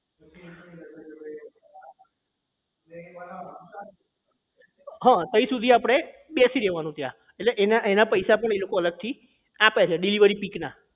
હા તઇ સુધી આપણે બેસી રહેવાનું ત્યાં એટલે એના એના પૈસા પણ એ લોકો અલગ થી આપે છે delivery pick ના